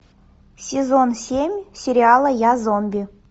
сезон семь сериала я зомби